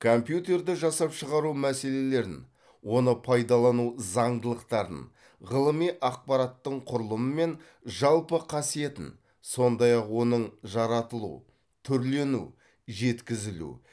компьютерді жасап шығару мәселелерін оны пайдалану зандылықтарын ғылыми ақпараттың құрылымы мен жалпы қасиетін сондай ақ оның жаратылу түрлену жеткізілу